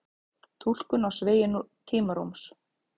túlkun á sveigju tímarúms